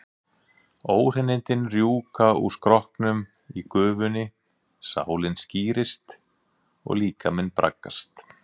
Óhreinindin rjúka úr skrokknum í gufunni, sálin skírist og líkaminn braggast.